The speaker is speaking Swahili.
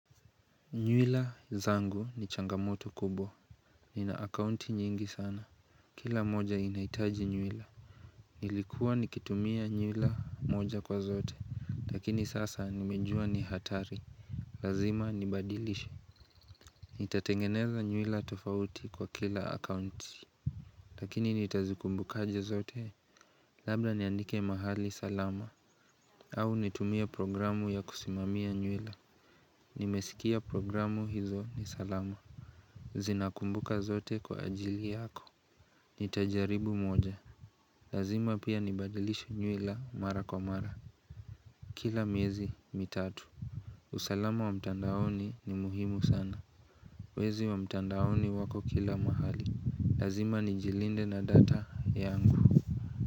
Nywila zangu ni changamoto kubwa Nina akaunti nyingi sana Kila moja inaitaji nywila Nilikuwa nikitumia nywila moja kwa zote Lakini sasa nimejua ni hatari Lazima nibadilishe Nitatengeneza nywila tofauti kwa kila akaunti Lakini nitazikumbuka aje zote Labda niandike mahali salama au nitumia programu ya kusimamia nywila Nimesikia programu hizo ni salama Zinakumbuka zote kwa ajili yako Nitajaribu moja Lazima pia nibadilishe nywila mara kwa mara Kila miezi mitatu usalama wa mitandaoni ni muhimu sana Wezi wa mtandaoni wako kila mahali Lazima nijilinde na data yangu.